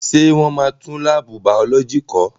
Ṣé wọ́n máa tún láàbù bàọ́lọ́jì kọ́?